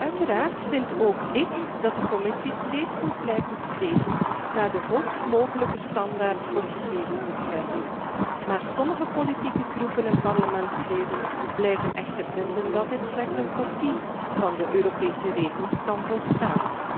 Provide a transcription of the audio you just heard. Uiteraard vind ook ik dat de Commissie steeds moet blijven streven naar de hoogst mogelijke standaard voor gegevensbescherming, maar sommige politieke fracties en parlementsleden blijven echter vinden dat alleen een kopie van de Europese regels kan volstaan.